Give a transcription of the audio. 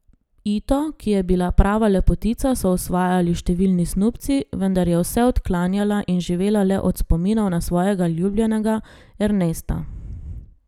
Ito, ki je bila prava lepotica, so osvajali številni snubci, vendar je vse odklanjala in živela le od spominov na svojega ljubljenega Ernesta.